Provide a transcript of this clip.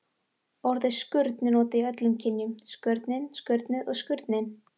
Orðið skurn er notað í öllum kynjum: skurnin, skurnið og skurninn.